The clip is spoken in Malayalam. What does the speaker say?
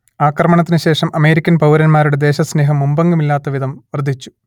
ആക്രമണത്തിനു ശേഷം അമേരിക്കൻ പൗരന്മാരുടെ ദേശസ്നേഹം മുമ്പെങ്ങുമില്ലാത്ത വിധം വർദ്ധിച്ചു